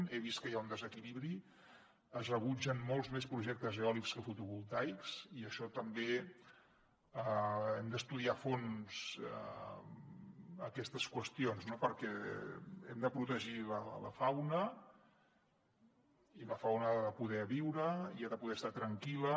he vist que hi ha un desequilibri es rebutgen molts més projectes eòlics que fotovoltaics i també hem d’estudiar a fons aquestes qüestions no perquè hem de protegir la fauna i la fauna ha de poder viure i ha de poder estar tranquil·la